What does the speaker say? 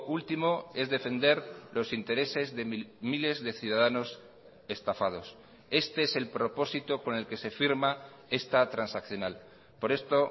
último es defender los intereses de miles de ciudadanos estafados este es el propósito con el que se firma esta transaccional por esto